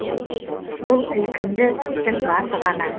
бұл ілкімді істің басы ғана